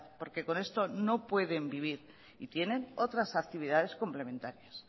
porque con esto no pueden vivir y tienen otras actividades complementarias